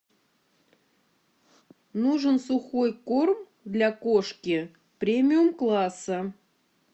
нужен сухой корм для кошки премиум класса